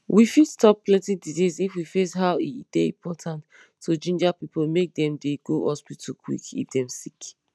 we fit stop plenty disease if we face how e dey important to ginger pipo make dem dey go hospital quick if dem sick